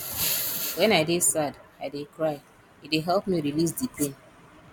wen i dey sad i dey cry e dey help me release di pain